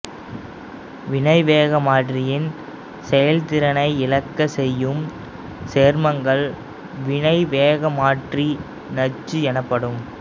வினைவேகமாற்றியின் செயல்திறனை இழக்கச் செய்யும் சேர்மங்கள் வினைவேகமாற்றி நச்சு எனப்படும்